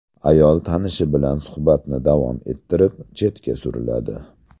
Ayol tanishi bilan suhbatni davom ettirib, chetga suriladi.